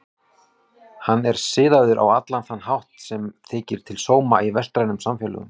Hann er siðaður á allan þann hátt sem þykir til sóma í vestrænum samfélögum.